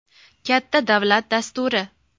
Katta davlat dasturi.